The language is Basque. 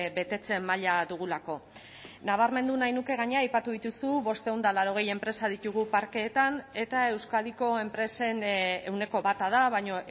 betetze maila dugulako nabarmendu nahi nuke gainera aipatu dituzu bostehun eta laurogei enpresa ditugu parkeetan eta euskadiko enpresen ehuneko bata da baina